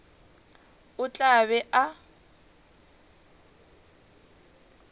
o tla be a ba